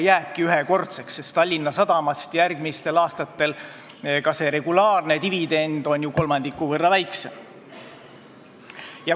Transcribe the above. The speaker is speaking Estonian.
See jääbki ühekordseks, sest järgmistel aastatel on ju Tallinna Sadamast võetav regulaarne dividend kolmandiku võrra väiksem.